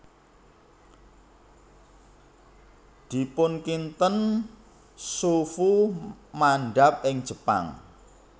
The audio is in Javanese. Dipunkinten Xu Fu mandhap ing Jepang